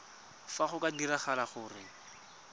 fa go ka diragala gore